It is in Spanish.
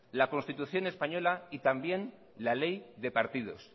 la constitución española y también la ley de partidos